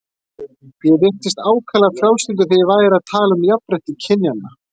Ég virtist ákaflega frjálslyndur þegar ég væri að tala um jafnrétti kynjanna.